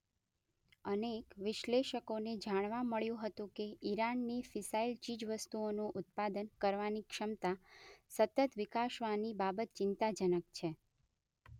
અનેક વિશ્લેષકોને જાણવા મળ્યું હતું કે ઇરાનની ફિસાઇલ ચીજવસ્તુઓનું ઉત્પાદન કરવાની ક્ષમતા સતત વિકસાવવાની બાબત ચિંતાજનક છે.